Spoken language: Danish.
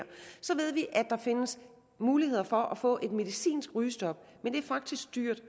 der findes muligheder for at få et medicinsk rygestop men det er faktisk dyrt